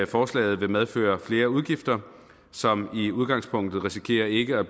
forslaget vil medføre flere udgifter som i udgangspunktet risikerer ikke at